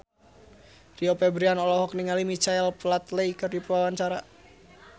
Rio Febrian olohok ningali Michael Flatley keur diwawancara